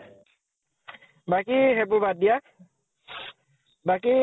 বাকী সেইবোৰ বাদ দিয়া। বাকী